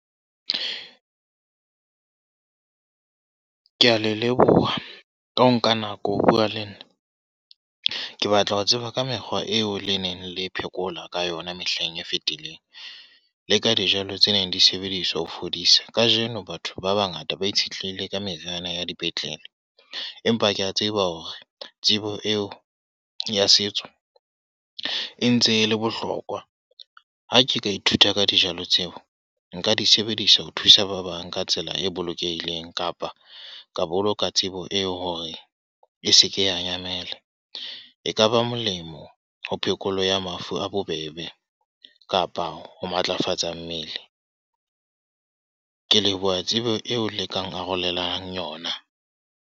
Ke a le leboha, ka ho nka nako ho bua le nna. Ke batla ho tseba ka mekgwa eo le neng le phekola ka yona mehleng e fetileng. Leka dijalo tse neng di sebediswa ho fodisang. Kajeno batho ba bangata ba itshetlehile ka meriana ya dipetlele. Empa ke a tseba hore tsebo eo ya setso, e ntse le bohlokwa. Ha ke ka ithuta ka dijalo tseo, nka di sebedisa ho thusa ba bang ka tsela e bolokehileng. Kapa ka boloka tsebo eo hore e seke ya nyamela. Ekaba ba molemo ho phekolo ya mafu a bobebe, kapa ho matlafatsa mmele. Ke leboha tsebo eo le kang arolelang yona.